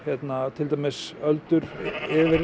til dæmis öldur yfir